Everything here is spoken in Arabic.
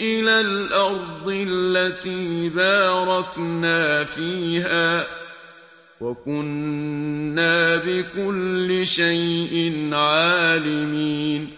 إِلَى الْأَرْضِ الَّتِي بَارَكْنَا فِيهَا ۚ وَكُنَّا بِكُلِّ شَيْءٍ عَالِمِينَ